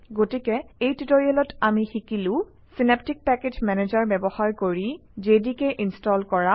গতিকে এই টিউটৰিয়েলত আমি শিকিলো - চিনাপ্টিক পেকেজ মেনেজাৰ ব্যৱহাৰ কৰি জেডিকে ইনষ্টল কৰা